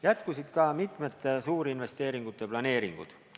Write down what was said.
Jätkusid mitmete suurinvesteeringute planeeringud.